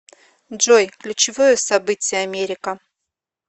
джой ключевое событие америка